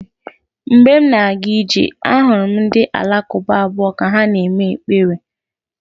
Mgbe m na-aga ije, ahụrụ m ndị Alakụba abụọ ka ha na-ekpe ekpere.